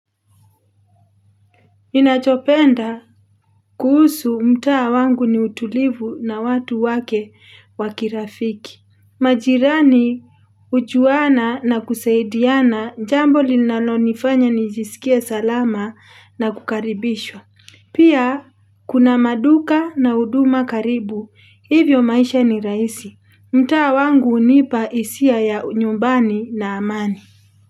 Ninachopenda kuhusu mtaa wangu ni utulivu na watu wake wa kirafiki. Majirani hujuana na kusaidiana, jambo linalo nifanya nijisikie salama na kukaribishwa. Pia kuna maduka na huduma karibu. Hivyo maisha ni rahisi. Mtaa wangu hunipa hisia ya unyumbani na amani.